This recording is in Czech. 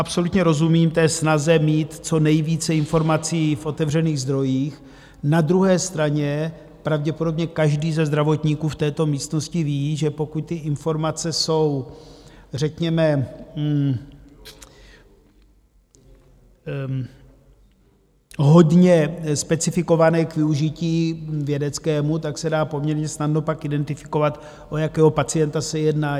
Absolutně rozumím té snaze, mít co nejvíce informací v otevřených zdrojích, na druhé straně pravděpodobně každý ze zdravotníků v této místnosti ví, že pokud ty informace jsou řekněme hodně specifikované k využití vědeckému, tak se dá poměrně snadno pak identifikovat, o jakého pacienta se jedná.